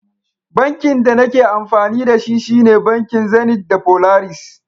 Bankin da nake amfani da shi, shine bankin Zenith da Polaris.